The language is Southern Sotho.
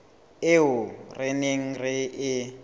eo re neng re e